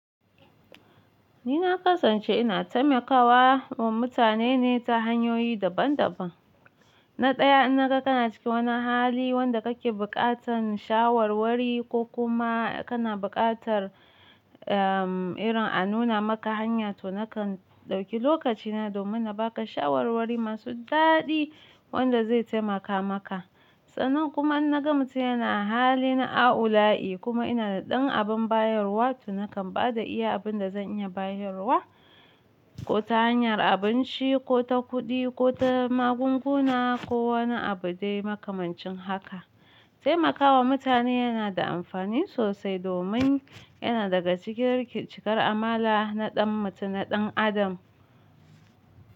Ni na ƙasance ina taimakawa wa mutane ne ta hanyoyi daban daban. Na ɗaya, in naga kana cikin wani hali wanda kake buƙatar shawarwari ko kuma kana buƙatar, em, irin a nuna maka hanya to nakan ɗauki lokacina domin na baka shawarwari masu daɗi wanda zai taimaka maka. Sannan kuma in naga mutum yana a halin aula'i kuma ina da ɗan abin bayarwa to nakan ba da iya abin da zan iya bayarwa, ko ta hanyar abinci ko ta kuɗi ko ta magunguna ko wani abu dai makamancin haka. Taimakawa mutane yana da amfani sosai domin yana daga cikin cikar amala na ɗan mutum, na ɗan adam.